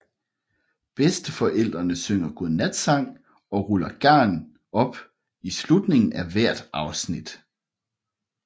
Bedsteforældrene synger godnatsang og ruller garn op i slutningen af hvert afsnit